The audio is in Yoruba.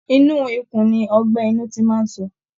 Inú ikùn ni ọgbẹ́ inú ti máa ń sọ